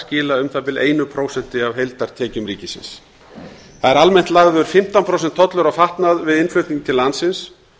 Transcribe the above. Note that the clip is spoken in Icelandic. skila um það bil eitt prósent af heildartekjum ríkisins það er almennt lagður fimmtán prósent tollur á fatnað við innflutning til landsins